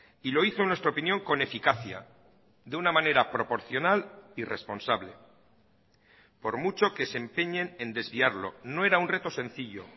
y lo hizo en nuestra opinión con eficacia de una manera proporcional y responsable por mucho que se empeñen en desviarlo no era un reto sencillo